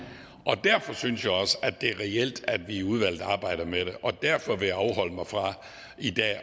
derfor synes jeg også at det er reelt at vi arbejder med det i og derfor vil jeg afholde mig fra i dag